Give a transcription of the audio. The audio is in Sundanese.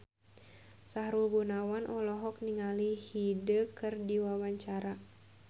Sahrul Gunawan olohok ningali Hyde keur diwawancara